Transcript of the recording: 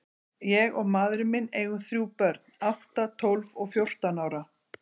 Ég og maðurinn minn eigum þrjú börn, átta, tólf og fjórtán ára.